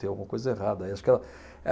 Tem alguma coisa errada aí. Acho que ela